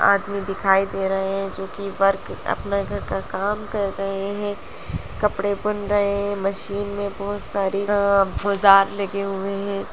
आदमी दिखाई दे रहे हैं जो कि वर्क अपना घर का काम कर रहे हैं| कपड़े बुन रहे हैं। मशीन में बहोत सारे अ औजार लगे हुए हैं।